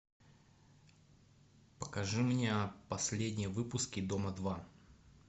покажи мне последние выпуски дома два